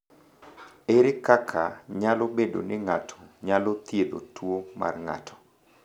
Ere kaka nyalo bedo ni ng’ato nyalo thiedho tuwo mar ng’ato?